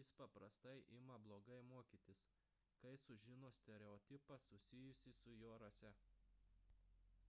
jis paprastai ima blogai mokytis kai sužino stereotipą susijusį su jo rase